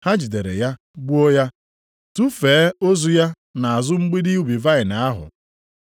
Ha jidere ya gbuo ya, tufee ozu ya nʼazụ mgbidi ubi vaịnị ahụ.